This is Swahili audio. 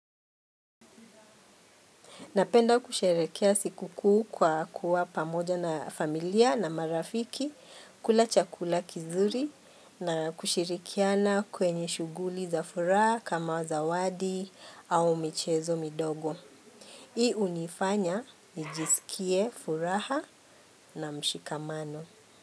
Napenda kusherehekea siku kuu kwa kuwa pamoja na familia na marafiki kula chakula kizuri na kushirikiana kwenye shughuli za furaha kama zawadi au michezo midogo. Hii hunifanya nijisikie furaha na mshikamano.